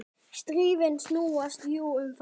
Stríðin snúast jú um það.